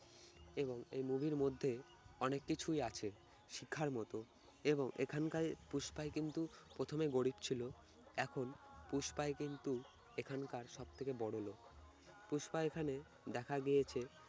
এবং এই movie র মধ্যে অনেক কিছুই আছে শিক্ষার মতো এবং এখানকায় পুষ্পাই কিন্তু প্রথমে গরিব ছিল এখন পুষ্পাই কিন্তু এখানকার সব থেকে বড় লোক। পুষ্পা এখানে দেখা গিয়েছে-